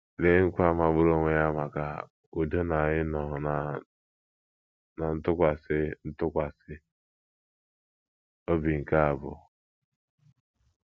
Lee nkwa magburu onwe ya maka udo na ịnọ ná ntụkwasị ntụkwasị obi nke a bụ!